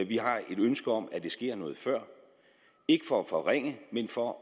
vi har et ønske om at det sker noget før ikke for at forringe men for at